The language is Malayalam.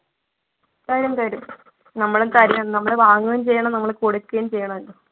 തരും തരും നമ്മൾ തരേം~ വാങ്ങുകയും ചെയ്യണം നമ്മൾ കൊടുക്കുകയും ചെയ്യണം